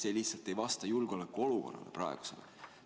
See lihtsalt ei vasta praegusele julgeolekuolukorrale.